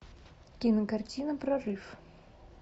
кинокартина прорыв